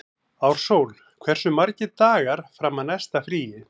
Ársól, hversu margir dagar fram að næsta fríi?